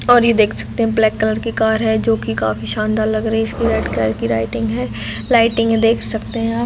और ये देख सकते है ब्लैक कलर की कार जो की काफी शानदार लग रही है इसकी रेड कलर की लाइटिंग है लाइटिंग देख सकते है आप--